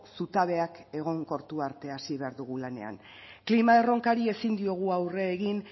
zutabeak egonkortu arte hasi behar dugu lanean klima erronkari ezin diogu aurre egin